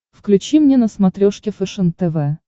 включи мне на смотрешке фэшен тв